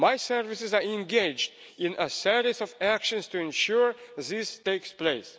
My services are engaged in a series of actions to ensure this takes place.